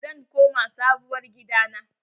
Zan koma Sabuwar gida na.